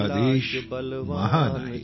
आपला देश महान आहे